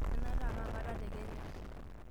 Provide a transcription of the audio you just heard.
enaata aa kaakata tekenya